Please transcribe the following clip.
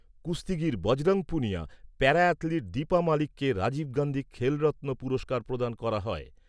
কুস্তিগীর Bajrang Punia, para athlete Deepa মালিককে রাজীব গান্ধী খেলরত্ন পুরস্কার প্রদান করা হয়।